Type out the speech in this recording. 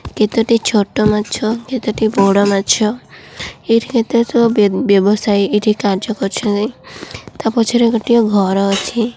କେତେଟି ଛୋଟ ମାଛ କେତେଟି ବଡ଼ ମାଛ ଏଇଠି କେତେ ସବୁ ବ୍ୟବସାୟୀ କାର୍ଯ୍ୟ କରୁଛନ୍ତି ତା ପଛରେ ଗୋଟିଏ ଘର ଅଛି।